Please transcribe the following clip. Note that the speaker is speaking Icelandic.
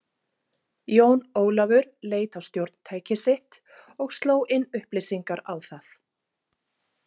Jón Ólafur leit á stjórntækið sitt og sló inn upplýsingar á það.